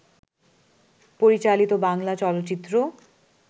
পরিচালিত বাংলা চলচ্চিত্র